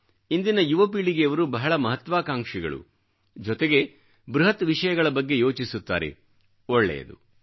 ಇಂದಿನ ಯುವಪೀಳಿಗೆಯವರು ಬಹಳ ಮಹತ್ವಾಕಾಂಕ್ಷಿಗಳು ಜೊತೆಗೆ ಬೃಹತ್ ವಿಷಯಗಳ ಬಗ್ಗೆ ಯೋಚಿಸುತ್ತಾರೆ ಒಳ್ಳೆಯದು